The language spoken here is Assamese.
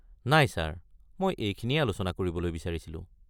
নাই ছাৰ, মই এইখিনিয়েই আলোচনা কৰিবলৈ বিচাৰিছিলোঁ।